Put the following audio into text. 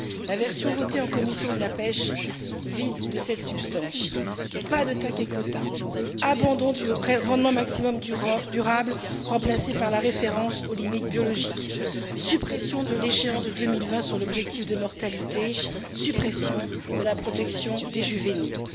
La version votée en commission de la pêche la vide de sa substance pas de TAC ni de quotas, abandon du rendement maximum durable, remplacé par la référence aux limites biologiques, suppression de l'échéance de 2020 sur l'objectif de mortalité et suppression de la protection des juvéniles.